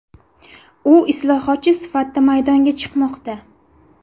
U islohotchi sifatida maydonga chiqmoqda.